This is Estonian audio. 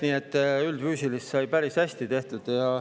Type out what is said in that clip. Nii et üldfüüsilist sai päris hästi tehtud.